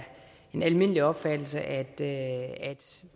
en almindelig opfattelse at